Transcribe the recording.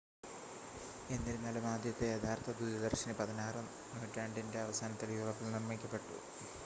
എന്നിരുന്നാലും ആദ്യത്തെ യഥാർത്ഥ ദൂരദർശിനി 16 നൂറ്റാണ്ടിൻ്റെ അവസാനത്തിൽ യൂറോപ്പിൽ നിർമ്മിക്കപ്പെട്ടു